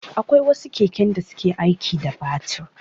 Akwai wasu keken da suke aiki da batir.